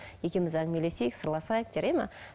екеуміз әңгімелесейік сырласайық жарай ма